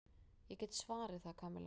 Ég get svarið það, Kamilla.